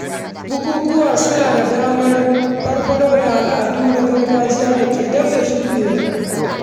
Bukukuwa suna da matuƙar muhimmanci wajen farfaɗo da al’adun da ke gab da shuɗewa.